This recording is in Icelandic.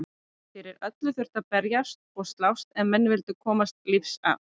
Fyrir öllu þurfti að berjast og slást ef menn vildu komast lífs af.